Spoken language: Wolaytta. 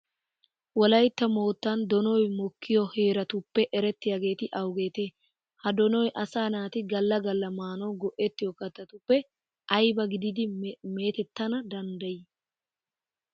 Wolaytta moottan donoy mokkiyo heeratuope erettiyageeti awugeetee? Ha donoy asaa naati galla galla maanawu go"ettiyo kattatuppe ayba gididi meetettana danddayii?